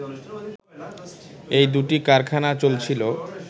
এই দুটি কারখানা চলছিল